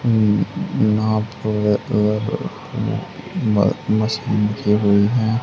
होई है।